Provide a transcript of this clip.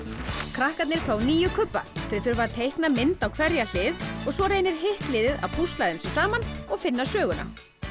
krakkarnir fá níu kubba þau þurfa að teikna mynd á hverja hlið og svo reynir hitt liðið að púsla þessu saman og finna söguna